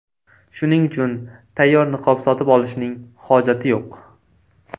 Shuning uchun tayyor niqob sotib olishning hojati yo‘q.